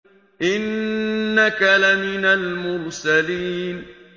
إِنَّكَ لَمِنَ الْمُرْسَلِينَ